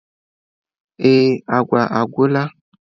Ee agwa agwụla.